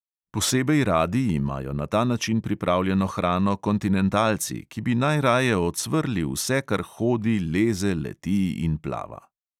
Posebej radi imajo na ta način pripravljeno hrano kontinentalci, ki bi najraje ocvrli vse, kar hodi, leze, leti in plava.